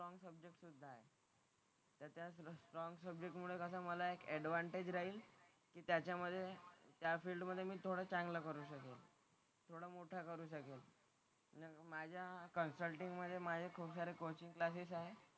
तर त्या स्ट्रॉन्ग सब्जेक्टमुळे कसं मला एक ऍडव्हान्टेज राहील कि त्याच्यामधे त्या फील्ड मधे मी थोडा चांगला करू शकेल. थोडा मोठा करू शकेल. तर माझ्या कन्सल्टिंग मधे माझे खुपसारे कोचिंग क्लासेस आहेत.